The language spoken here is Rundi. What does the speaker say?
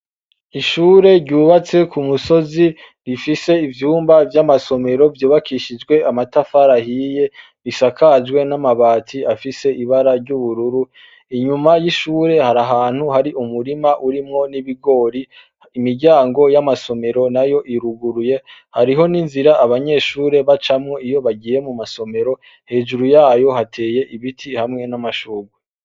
Ishure ryubatse ku musozi rifise ivyumba by'amasomero byobakishijwe amatafara hiye bisakajwe n'amabati afise ibara ry'ubururu inyuma y'ishure hari ahantu hari umurima urimwo n'ibigori imiryango y'amasomero na yo iruguruye hariho n'inzira abanyeshure bacamwo iyo bagiye mu masomero hejuru yayo hateye ibiti hamwe n'amashugwe.